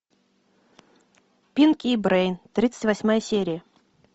пинки и брейн тридцать восьмая серия